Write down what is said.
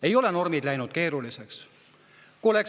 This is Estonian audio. Ei ole normid läinud keeruliseks.